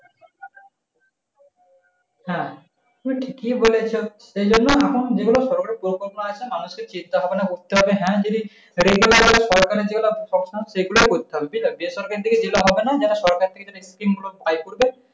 হ্যাঁ তুমি ঠিকই বলেছ। সেইজন্য এখন যেগুলো সরকারি পরিকল্পনা আছে মানুষের চিন্তা করতে হবে হ্যাঁ যদি,